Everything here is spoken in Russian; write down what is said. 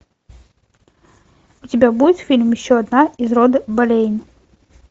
у тебя будет фильм еще одна из рода болейн